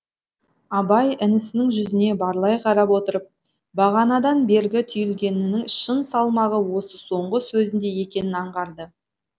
абай інісінің жүзіне барлай қарап отырып бағанадан бергі түйілгенінің шын салмағы осы соңғы сөзінде екенін аңғарды